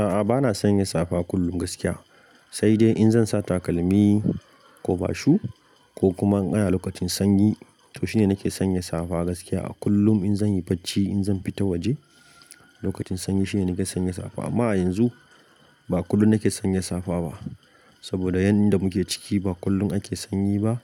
A'a, ba na sanya safa kullum gaskiya, sai dai in zan sa takalmi kobashu ko kuma in ana lokacin sanyi to shine nake sanya safa gaskiya. Kullum in zan yi bacci, in zan fita waje lokacin sanyi shine nake sanya safa. Amma a yanzu ba kullum nake sanya safa ba saboda yanda muke ciki ba kullum ake sanyi ba,